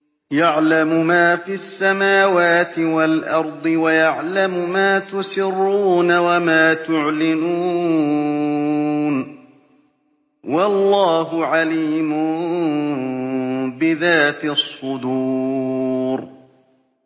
يَعْلَمُ مَا فِي السَّمَاوَاتِ وَالْأَرْضِ وَيَعْلَمُ مَا تُسِرُّونَ وَمَا تُعْلِنُونَ ۚ وَاللَّهُ عَلِيمٌ بِذَاتِ الصُّدُورِ